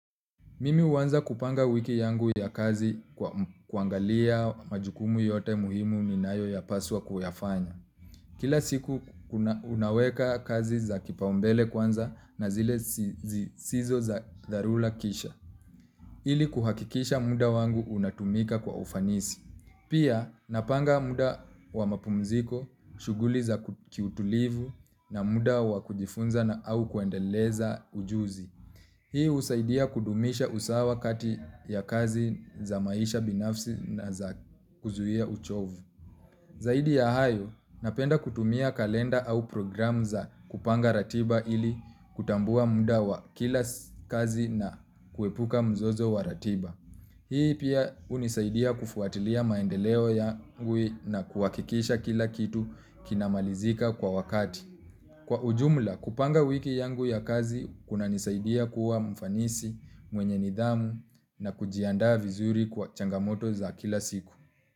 Mimi huwanza kupanga wiki yangu ya kazi kwa kuangalia majukumu yote muhimu ninayo paswa kuyafanya. Kila siku unaweka kazi za kipaumbele kwanza na zile zisizo za dharura kisha. Ili kuhakikisha muda wangu unatumika kwa ufanisi. Pia napanga muda wa mapumziko, shuguli za kiutulivu na muda wa kujifunza na au kuendeleza ujuzi. Hii husaidia kudumisha usawa kati ya kazi za maisha binafsi na za kuzuhia uchovu. Zaidi ya hayo, napenda kutumia kalenda au programu za kupanga ratiba ili kutambua musa wa kila kazi na kuepuka mzozo wa ratiba. Hii pia hunisaidia kufuatilia maendeleo yangu na kuhakikisha kila kitu kinamalizika kwa wakati. Kwa ujumla kupanga wiki yangu ya kazi kuna nisaidia kuwa mfanisi mwenye nidhamu na kujianda vizuri kwa changamoto za kila siku.